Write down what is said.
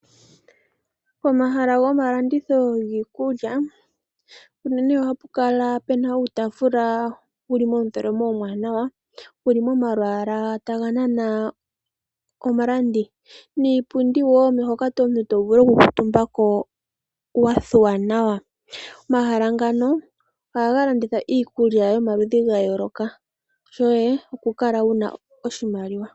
Pomahala gomalanditho giikulya unene ohapu kala pu na uutaafula wu na omutholomo omuwanawa wu li momalwaala taga nana omulandi niipundi wo hoka omuntu to vulu okukuutumba ko wa thuwa nawa. Omahala ngano ohaga landitha iikulya yomaludhi ga yooloka, shoye okukala wu na iimaliwa.